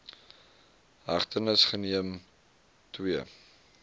hegtenis geneem ii